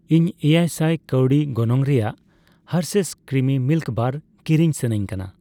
ᱤᱧ ᱮᱭᱟᱭᱥᱟᱭ ᱠᱟᱣᱰᱤ ᱜᱚᱱᱚᱝ ᱨᱮᱭᱟᱜ ᱦᱟᱨᱥᱷᱮᱭᱥ ᱠᱨᱤᱢᱤ ᱢᱤᱞᱠ ᱵᱟᱨ ᱠᱤᱨᱤᱧ ᱥᱟᱱᱟᱧᱠᱟᱱᱟ